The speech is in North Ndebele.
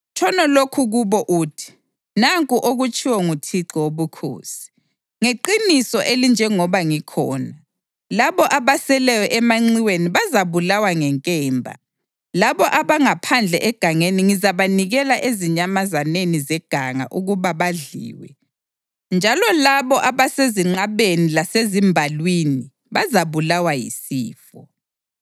Tshono lokhu kubo uthi: ‘Nanku okutshiwo nguThixo Wobukhosi: Ngeqiniso elinjengoba ngikhona, labo abaseleyo emanxiweni bazabulawa ngenkemba, labo abangaphandle egangeni ngizabanikela ezinyamazaneni zeganga ukuba badliwe, njalo labo abasezinqabeni lasezimbalwini bazabulawa yisifo.